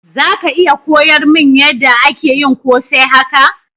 Zaka iya koyar mun yada ana yin kose haka?